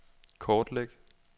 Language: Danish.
kortlæg